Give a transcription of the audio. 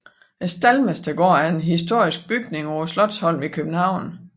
Staldmestergården er en historisk bygning på Slotsholmen i København